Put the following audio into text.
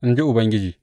In ji Ubangiji.